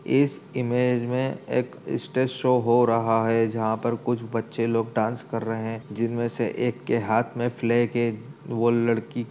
इस इमेज में एक स्टेज शो हो रहा है जहां पर कुछ बच्चे लोग डांस कर रहे हैं जिनमें से एक के हाथ में फ्लैग है। वो लड़की --